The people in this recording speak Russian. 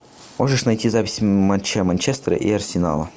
можешь найти запись матча манчестера и арсенала